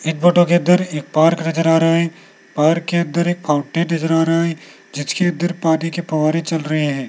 इस फोटो के अंदर एक पार्क नजर आ रहा है पार्क के अंदर एक फाउंटेन नजर आ रहा है जिसके अंदर पानी के फव्वारे चल रहे हैं।